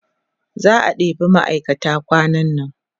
za'a ɗeba ma'aikata kwanan nan